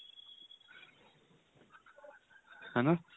ਹੈਨਾ